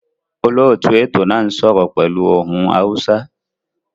Olóòtú ètò náà n sọ́rọ́ pẹ́lu ohun Hausa